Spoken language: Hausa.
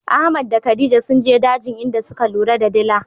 Ahmad da khadija sunje dajin inda suka lura da dila.